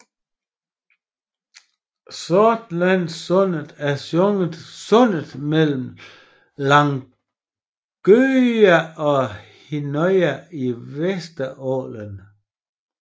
Sortlandssundet er sundet mellem Langøya og Hinnøya i Vesterålen